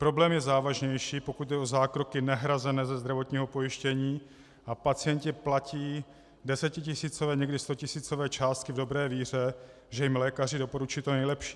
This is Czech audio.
Problém je závažnější, pokud jde o zákroky nehrazené ze zdravotního pojištění a pacienti platí desetitisícové, někdy stotisícové částky v dobré víře, že jim lékaři doporučují to nejlepší.